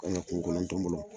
U kan ka kungo kɔnɔ ntɔmɔno